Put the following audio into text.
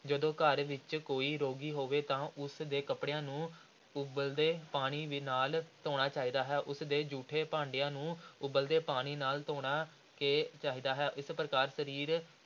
ਜਦੋਂ ਘਰ ਵਿਚ ਕੋਈ ਰੋਗੀ ਹੋਵੇ ਤਾਂ ਉਸ ਦੇ ਕੱਪੜਿਆਂ ਨੂੰ ਉਬਲਦੇ ਪਾਣੀ ਨਾਲ ਧੋਣਾ ਚਾਹੀਦਾ ਹੈ, ਉਸਦੇ ਜੂਠੇ ਭਾਂਡਿਆਂ ਨੂੰ ਉਬਲਦੇ ਪਾਣੀ ਨਾਲ ਧੋਣਾ ਕੇ ਚਾਹੀਦਾ ਹੈ, ਇਸ ਪ੍ਰਕਾਰ ਸਰੀਰ,